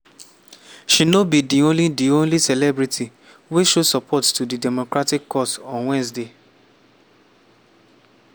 she no be di only di only celebrity wey show support to di democratic cause on wednesday.